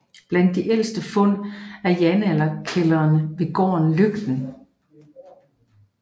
Blandt de ældste fund er jernalderkældrene ved gården Løgten